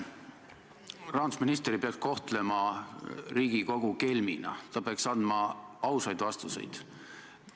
Rahandusminister ei peaks kohtlema Riigikogu kelmina, ta peaks andma ausaid vastuseid.